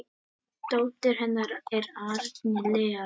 Dóttir hennar er Árný Lea.